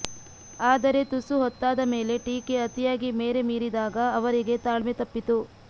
ಆದರೆ ತುಸು ಹೊತ್ತಾದ ಮೇಲೆ ಟೀಕೆ ಅತಿಯಾಗಿ ಮೇರೆ ಮೀರಿದಾಗ ಅವರಿಗೆ ತಾಳ್ಮೆ ತಪ್ಪಿತು